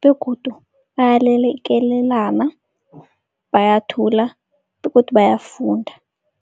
begodu bayalekelelana, bayathula begodu bayafunda.